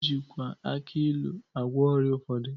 E jikwa aki ilu agwọ ọrịa ụfọdụ.